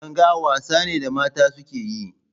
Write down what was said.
Langa wasa ne da mata suke yi.